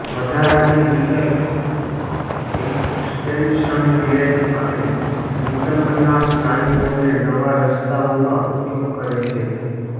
વધારાની rear extension leg અને નિતંબનાં સ્નાયુઓને નવા રસ્તાઓમાં ઉપયોગ કરે છે